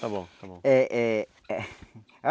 Está bom, está bom. Eh eh